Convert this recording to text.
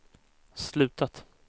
slutat